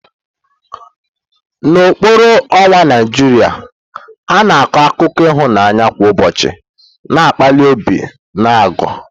N'okpuru ọnwa Naijiria, a na-akọ akụkọ ịhụnanya kwa ụbọchị na-akpali obi na agụụ.